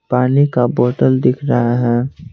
पानी का बोतल दिख रहा है।